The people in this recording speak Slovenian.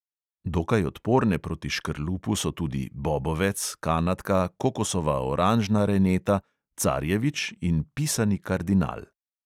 Dokaj odporne proti škrlupu so tudi bobovec, kanadka, kokosova oranžna reneta, carjevič in pisani kardinal.